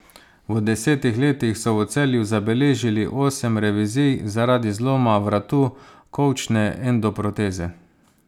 V desetih letih so v Celju zabeležili osem revizij zaradi zloma vratu kolčne endoproteze.